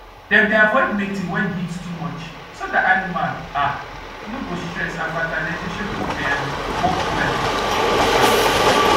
dem dey avoid mating when heat too much so that the animal um no go stress and fertilisation go um work well um